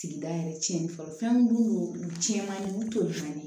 Sigida yɛrɛ tiɲɛnen fɔlɔ fɛn min dun u tiɲɛn man ɲi olu t'o ɲɛɲini